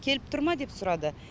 келіп тұр ма деп сұрады